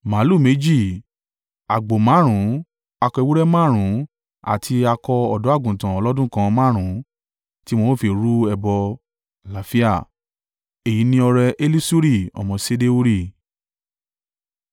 màlúù méjì, àgbò márùn-ún, akọ ewúrẹ́ márùn-ún àti akọ ọ̀dọ́-àgùntàn ọlọ́dún kan márùn-ún tí wọn ó fi rú ẹbọ àlàáfíà. Èyí ni ọrẹ Elisuri ọmọ Ṣedeuri.